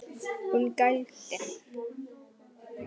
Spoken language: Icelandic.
Hún gældi.